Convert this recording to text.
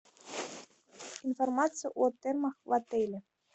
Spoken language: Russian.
информация о термах в отеле